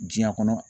Diɲɛ kɔnɔ